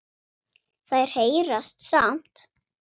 Þær heyrast samt.